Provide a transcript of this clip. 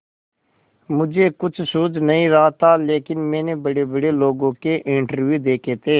मुझे कुछ सूझ नहीं रहा था लेकिन मैंने बड़ेबड़े लोगों के इंटरव्यू देखे थे